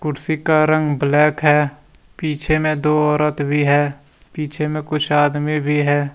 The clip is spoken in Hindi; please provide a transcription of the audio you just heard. कुर्सी का रंग ब्लैक है पीछे में दो औरत भी है पीछे में कुछ आदमी भी है।